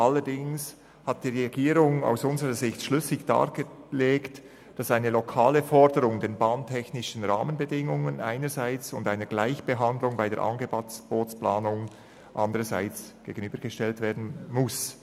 allerdings hat die Regierung aus unserer Sicht schlüssig dargelegt, dass die lokale Forderung nach bestimmten bahntechnischen Rahmenbedingungen einer Gleichbehandlung bei der Angebotsplanung gegenübergestellt werden muss.